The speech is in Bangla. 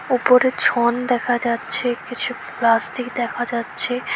উপরে ছন দেখা যাচ্ছে কিছু প্লাস্টিক দেখা যাচ্ছে।